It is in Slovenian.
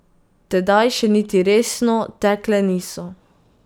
Tedaj še niti resno tekle niso.